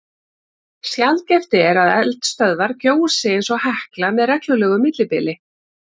Sjaldgæft er að eldstöðvar gjósi eins og Hekla með reglulegu millibili.